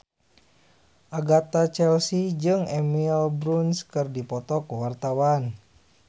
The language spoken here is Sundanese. Agatha Chelsea jeung Emily Blunt keur dipoto ku wartawan